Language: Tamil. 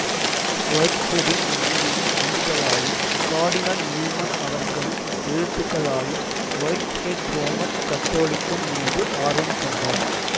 வொய்ட்ஹெடின் மனைவியின் உந்துதலாலும் கார்டினல் நியூமன் அவர்களின் எழுத்துகளாலும் வொய்ட்ஹெட் ரோமன் கத்தோலிக்கம் மீது ஆர்வம் கொண்டார்